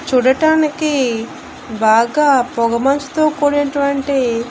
చూడటానికి బాగా పొగ మంచుతో కూడినటువంటి--